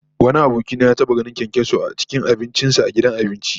Wani aboki na ya taba ganin kyankyaso a abincin sa a gidan abinci